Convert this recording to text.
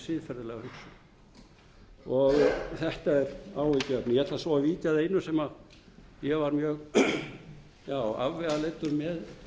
sér siðferðilega hugsun þetta er áhyggjuefni ég ætla svo að víkja að einu sem ég var mjög afvegaleiddur með